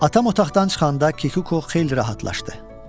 Atam otaqdan çıxanda Kikuko xeyli rahatlaşdı.